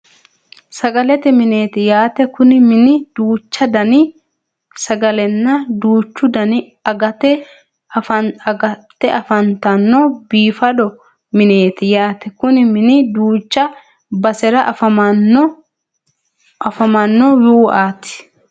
Sagalete mineeti yaate Kuni mini duuchu Dani sagalenna duuchu Dani agatti afantano biifado mineeti yaate Kuni mini duucha basera afamano uaate